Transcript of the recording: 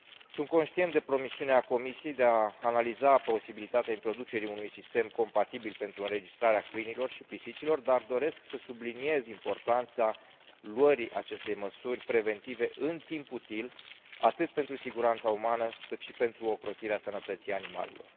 Sunt conștient de promisiunea Comisiei de a analiza posibilitatea introducerii unui sistem compatibil pentru înregistrarea câinilor și pisicilor, dar doresc să subliniez importanța luării acestei măsuri preventive în timp util atât pentru siguranța umană cât și pentru ocrotirea sănătății animalelor.